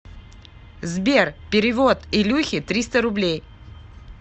сбер перевод илюхе триста рублей